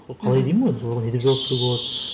сол қалай деймін ғой соған не деп жауап беруге болады